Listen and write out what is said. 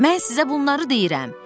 Mən sizə bunları deyirəm.